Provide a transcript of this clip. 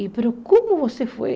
E, mas como você foi?